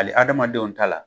Hali adamadenw ta la